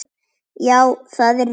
Já, það er rétt.